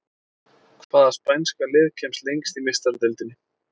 Hvaða spænska lið kemst lengst í Meistaradeildinni?